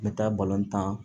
N bɛ taa tan